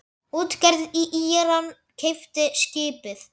Útgerð í Íran keypti skipið.